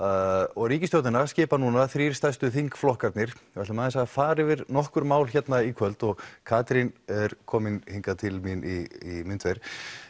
og ríkisstjórnina skipa þrír stærstu þingflokkarnir við ætlum aðeins að fara yfir nokkur mál hérna í kvöld og Katrín er komin hingað til mín í myndver